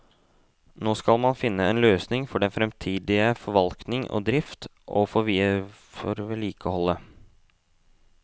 Nå skal man finne en løsning for den fremtidige forvaltning og drift, og for vedlikeholdet.